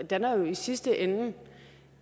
danner jo i sidste ende